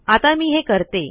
आता मी हे करते